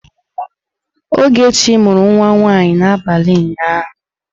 Ogechi mụrụ nwa nwanyị n'abalị ụnyaahụ.